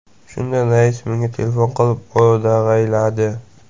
Shunda rais menga telefon qilib o‘dag‘ayladi.